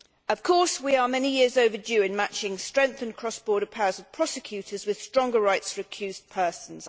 Of course, we are many years overdue in matching the strengthened cross border powers of prosecutors with stronger rights for accused persons.